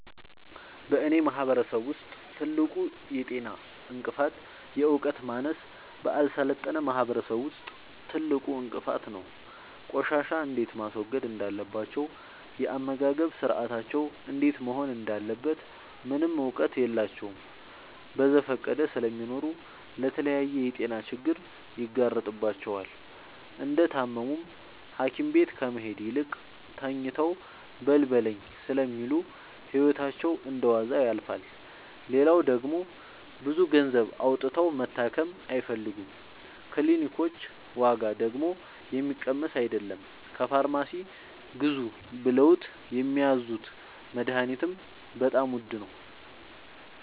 በእኔ ማህበረሰብ ውስጥ ትልቁ የጤና እንቅፍት የዕውቀት ማነስ በአልሰለጠነ ማህበረሰብ ውስጥ ትልቁ እንቅፋት ነው። ቆሻሻ እንዴት ማስወገድ እንዳለባቸው የአመጋገብ ስርአታቸው እንዴት መሆን እንዳለበት ምንም እውቀት የላቸውም በዘፈቀደ ስለሚኖሩ ለተለያየ የጤና ችግር ይጋረጥባቸዋል። እንደታመሙም ሀኪቤት ከመሄድ ይልቅ ተኝተው በልበለኝ ስለሚሉ ህይወታቸው እንደዋዛ ያልፋል። ሌላው ደግሞ ብዙ ገንዘብ አውጥተው መታከም አይፈልጉም ክኒልኮች ዋጋደግሞ የሚቀመስ አይለም። ከፋርማሲ ግዙ ብለውት የሚያዙት መደሀኒትም በጣም ውድ ነው።